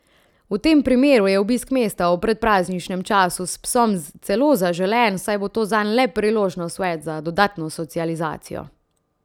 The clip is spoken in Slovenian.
V tem primeru je obisk mesta v predprazničnem času s psom celo zaželen, saj bo to zanj le priložnost več za dodatno socializacijo.